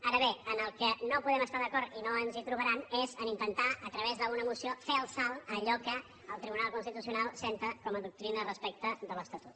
ara bé en el que no podem estar d’acord i no ens hi trobaran és a intentar a través d’una moció fer el salt a allò que el tribunal constitucional assenta com a doc·trina respecte de l’estatut